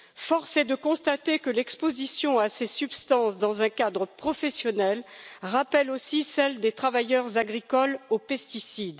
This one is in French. Force est de constater que l'exposition à ces substances dans un cadre professionnel rappelle aussi celle des travailleurs agricoles aux pesticides.